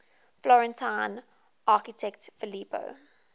florentine architect filippo